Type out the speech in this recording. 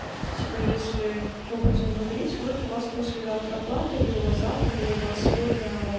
типа если мы будем говорить вот у вас послезавтра оплата или у вас завтра или у вас сегодня